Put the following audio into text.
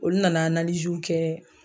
Olu nana kɛ